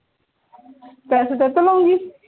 ਪੈਸੇ ਤੇਰੇ ਤੋਂ ਮੰਗੀ